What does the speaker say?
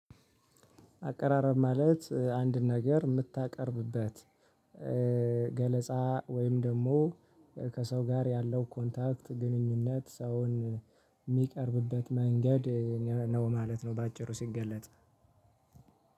አቀራረብ ማለት አንድን ነገር የምታቀርብበት ገለጻ ወይም ደግሞ ከሰው ጋር ያለው ኮንታክት ግንኙነት ሰውን የሚቀርብበት መንገድ ነው ማለት ነው። በአጭሩ ሲገለጥ